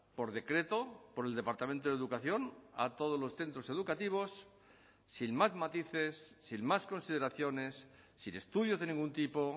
por decreto por el departamento de educación a todos los centros educativos sin más matices sin más consideraciones sin estudios de ningún tipo